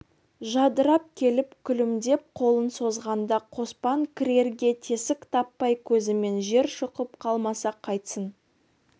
жадырап келіп күлімдеп қолын созғанда қоспан кірерге тесік таппай көзімен жер шұқып қалмаса қайтсын